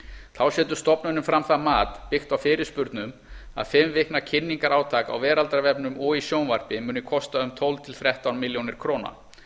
þá setur stofnunin fram það mat byggt á fyrirspurnum að fimm vikna kynningarátak á veraldarvefnum og í sjónvarpi muni kosta um tólf til þrettán milljónir króna